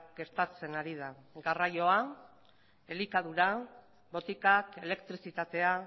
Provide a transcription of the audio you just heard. gertatzen ari da garraioa elikadura botikak elektrizitatea